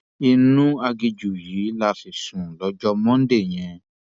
inú aginjù yìí la sì sùn lọjọ monde yẹn